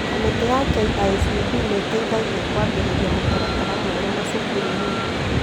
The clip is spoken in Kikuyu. Kamĩtĩ ya KICD nĩteithagia kwambĩrĩria mũtaratara mwerũ macukuru-inĩ